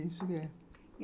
Isso mesmo.